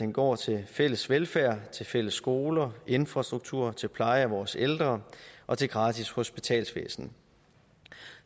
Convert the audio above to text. den går til fælles velfærd til fælles skoler infrastruktur til pleje af vores ældre og til gratis hospitalsvæsen